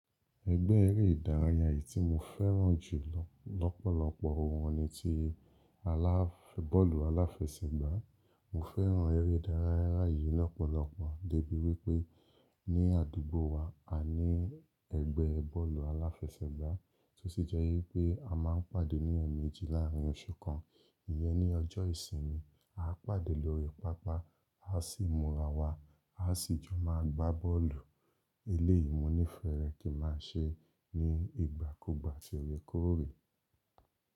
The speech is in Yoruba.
Ẹgbẹ́ eré ìdárayá eyìí tí mo fẹ́ràn jù lọ́pọ̀lọpọ̀ wọn ni ti aláf bọ́ọ̀lù aláfẹsẹ̀gbá. Mo fẹ́ràn eré ìdárayá yìí lọ́pọ̀lọpọ̀ débi wípẹ́ ní àdúgbò wa a ní ẹgbẹ́ bọ́ọ̀lù aláfẹsẹ̀gbá tó sì jẹ́ wípẹ́ a máa ń pàdé ní ẹ̀ẹ̀mejì láàárín oṣù kan. Iyẹn ní ọjọ́ ìsinmi, a pàdé lórí pápá, a sì múra wa, a sì jọ máa gbá bọ́ọ̀lù. Eléyìí mo nífẹ̀ẹ́ rẹ̀ kí a máa ṣe ní ìgbàkúgbà ati òrékòrè.